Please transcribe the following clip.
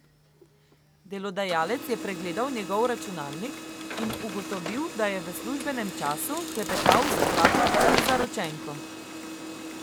Delodajalec je pregledal njegov računalnik in ugotovil, da je v službenem času klepetal z bratom in zaročenko.